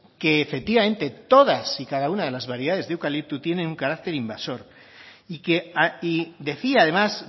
que efectivamente todas y cada una de las variedades de eucalipto tiene un carácter invasor y decía además